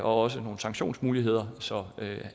også nogle sanktionsmuligheder så